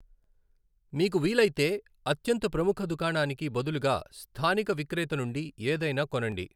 మీకు వీలైతే, అత్యంత ప్రముఖ దుకాణానికి బదులుగా స్థానిక విక్రేత నుండి ఏదైనా కొనండి.